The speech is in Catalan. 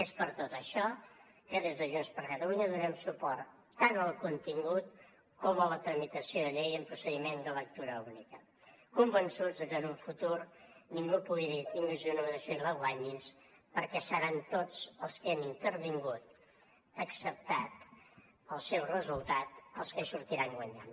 és per tot això que des de junts per catalunya donem suport tant al contingut com a la tramitació de la llei en procediment de lectura única convençuts de que en un futur ningú pugui dir tingues una mediació i la guanyis perquè seran tots els que hi han intervingut acceptat el seu resultat els que hi sortiran guanyant